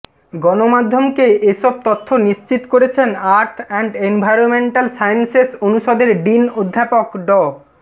গণমাধ্যমেকে এসব তথ্য নিশ্চিত করেছেন আর্থ অ্যান্ড এনভায়রনমেন্টাল সাইয়েন্সেস অনুষদের ডিন অধ্যাপক ড